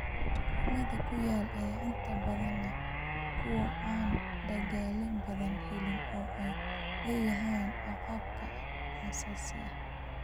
Iskuulada kuyaala ayaa intabadan ah kuwoaan dhaqaale badan helin oo aanlahayn agabka aasaasiga ah.